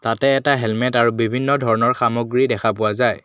ইয়াতে এটা হেলমেট আৰু বিভিন্ন ধৰণৰ সামগ্ৰী দেখা পোৱা যায়।